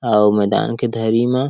अउ मैदान के धरी म